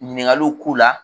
Ɲininkaliw k'u la.